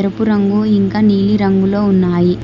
ఎరుపు రంగు ఇంకా నీలిరంగులో ఉన్నాయి.